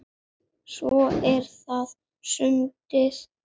Svo er það sundið.